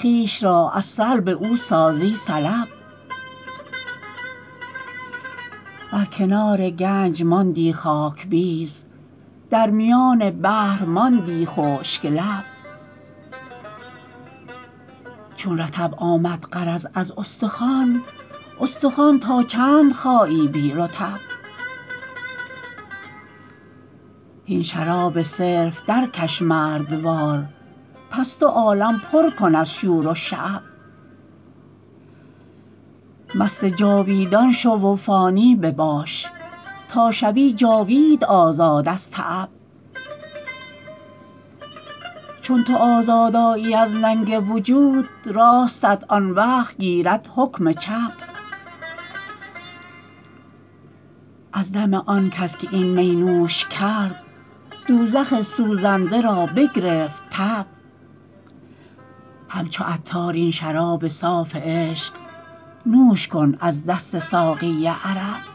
خویش را از سلب او سازی سلب بر کنار گنج ماندی خاک بیز در میان بحر ماندی خشک لب چون رطب آمد غرض از استخوان استخوان تا چند خایی بی رطب هین شراب صرف درکش مردوار پس دو عالم پر کن از شور و شعب مست جاویدان شو و فانی بباش تا شوی جاوید آزاد از تعب چون تو آزاد آیی از ننگ وجود راستت آن وقت گیرد حکم چپ از دم آن کس که این می نوش کرد دوزخ سوزنده را بگرفت تب همچو عطار این شراب صاف عشق نوش کن از دست ساقی عرب